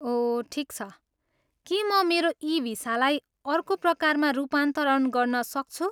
ओह, ठिक छ। के म मेरो ई भिसालाई अर्को प्रकारमा रूपान्तरण गर्न सक्छु?